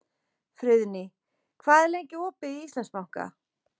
Friðný, hvað er lengi opið í Íslandsbanka?